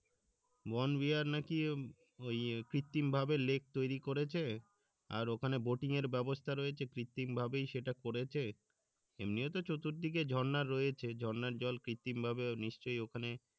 নাকি ওই কৃত্রিম ভাবে লেক তৈরি করেছে আর ওখানে এর ব্যাবস্থা রয়েছে কৃত্রিম ভাবেই সেটা করেছে এমনিও তো চতুর দিকে ঝর্ণা রয়েছে ঝর্ণার জল কৃত্রিম ভাবে নিশ্চয় ওখানে